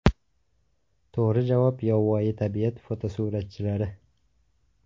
To‘g‘ri javob yovvoyi tabiat fotosuratchilari!